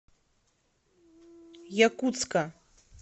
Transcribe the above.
якутска